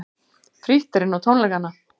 Frítt er inn á tónleikana